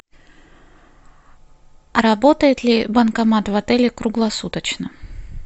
работает ли банкомат в отеле круглосуточно